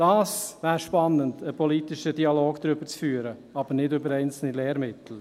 Darüber einen politischen Dialog zu führen wäre spannend – aber nicht über einzelne Lehrmittel.